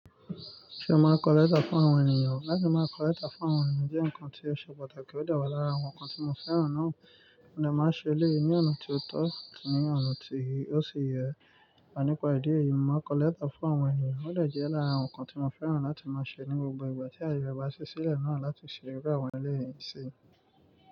Ṣé o máa kọ léétà fún àwọn ènìyàn? Láti máa kọ léétà fún àwọn ènìyàn jẹ́ nǹkan tí ṣe pàtàkì ó dewa lára àwọn nǹkan tí mo fẹ́ràn náà. Mo de máa n ṣe eleyii ní ọ̀nà tó tọ́ ní ọ̀nà tí ó ṣi yẹ. Ọ̀ nípa ìdí èyí, mo máa kọ léétà fún àwọn ènìyàn. Ó jẹ́ lára nǹkan tí mo fẹ́ràn láti máa ṣe ní gbogbo ìgbà tí ayẹyẹ ba ṣí sílẹ̀ náà láti ṣeré pẹ̀lú àwọn ẹlẹ́rìí sí.